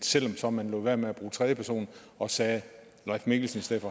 selv om man lod være med at bruge tredje person og sagde leif mikkelsen